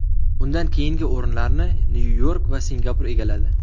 Undan keyingi o‘rinlarni Nyu-York va Singapur egalladi.